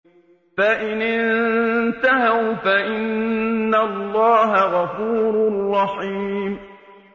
فَإِنِ انتَهَوْا فَإِنَّ اللَّهَ غَفُورٌ رَّحِيمٌ